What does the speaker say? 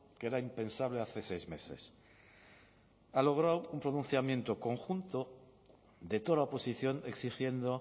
que era impensable hace seis meses ha logrado un pronunciamiento conjunto de toda la oposición exigiendo